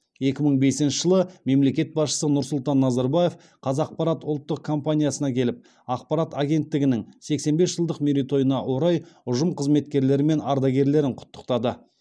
екі мың бесінші жылы мемлекет басшысы нұрсұлтан назарбаев қазақпарат ұлттық компаниясына келіп ақпарат агенттігінің сексен бес жылдық мерейтойына орай ұжым қызметкерлері мен ардагерлерін құттықтады